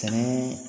Ani